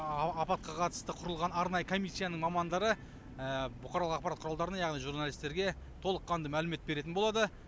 апатқа қатысты құрылған арнайы комиссияның мамандары бұқаралық ақпарат құралдарына яғни журналистерге толыққанды мәлімет беретін болады